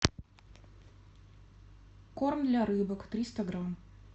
корм для рыбок триста грамм